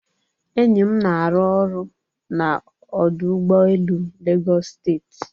Enyi m na-arụ ọrụ na ọdụ ụgbọ elu Lagos steeti.